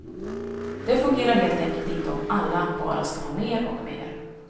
Det fungerar helt enkelt inte om alla bara ska ha mer och mer.